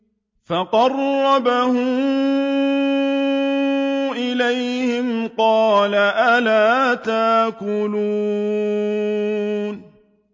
فَقَرَّبَهُ إِلَيْهِمْ قَالَ أَلَا تَأْكُلُونَ